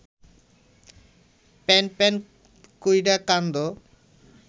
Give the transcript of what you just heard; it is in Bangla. প্যানপ্যান কইরা কান্দো